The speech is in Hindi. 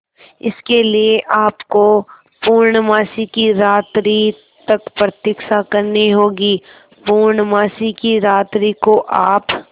इसके लिए आपको पूर्णमासी की रात्रि तक प्रतीक्षा करनी होगी पूर्णमासी की रात्रि को आप